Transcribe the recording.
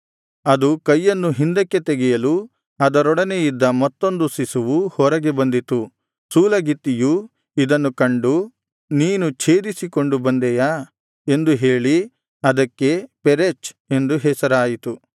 ಅದು ಕೈಯನ್ನು ಹಿಂದಕ್ಕೆ ತೆಗೆಯಲು ಅದರೊಡನೆ ಇದ್ದ ಮತ್ತೊಂದು ಶಿಶುವು ಹೊರಗೆ ಬಂದಿತು ಸೂಲಗಿತ್ತಿಯು ಇದನ್ನು ಕಂಡು ನೀನು ಛೇದಿಸಿಕೊಂಡು ಬಂದೆಯಾ ಎಂದು ಹೇಳಿ ಅದಕ್ಕೆ ಪೆರೆಚ್ ಎಂದು ಹೆಸರಾಯಿತು